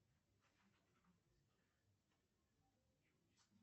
джой переведи брату с назначением платежа долг